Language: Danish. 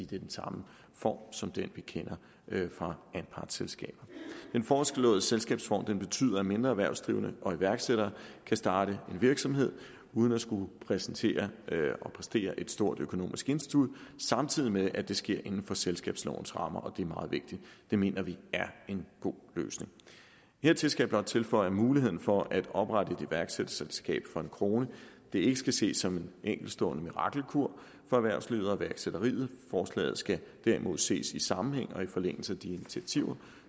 det er den samme form som den vi kender fra anpartsselskaber den foreslåede selskabsform betyder at mindre erhvervsdrivende og iværksættere kan starte en virksomhed uden at skulle præsentere og præstere et stort økonomisk indskud samtidig med at det sker inden for selskabslovens rammer og det er meget vigtigt det mener vi er en god løsning hertil skal jeg blot tilføje at muligheden for at oprette et iværksætterselskab for en kroner ikke skal ske som en enkeltstående mirakelkur for erhvervslivet og iværksætteriet forslaget skal derimod ses i sammenhæng og i forlængelse af de initiativer